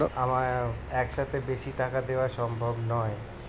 আমার এক সাথে বেশি টাকা দেওয়া সম্ভব নয়